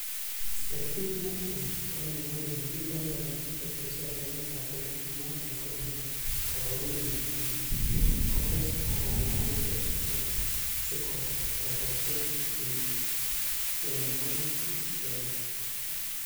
Stritit netui kokimwa kole"Kiboiboenyi kotieso en emetab kenya ak noton ko kiyai koboruno noton kotes ak kolaal ichek sikotokocher tionwogik che lelach.